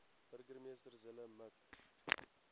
burgemeester zille mik